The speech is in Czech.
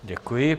Děkuji.